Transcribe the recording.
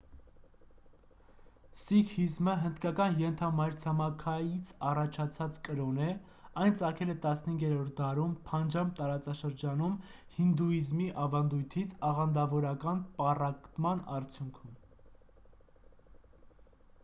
սիկհիզմը հնդկական ենթամայրցամաքից առաջացած կրոն է այն ծագել է 15-րդ դարում փանջաբ տարածաշրջանում հինդուիզմի ավանդույթից աղանդավորական պառակտման արդյունքում